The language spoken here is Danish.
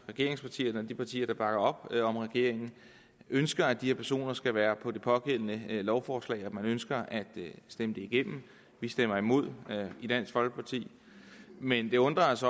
regeringspartierne og de partier der bakker op om regeringen ønsker at de her personer skal være på det pågældende lovforslag og at man ønsker at stemme det igennem vi stemmer imod i dansk folkeparti men det undrer os